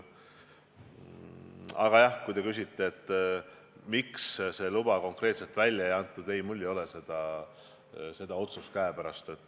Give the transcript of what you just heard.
Aga kui te küsite, miks seda luba konkreetselt välja ei antud, siis mul ei ole seda otsust käepärast.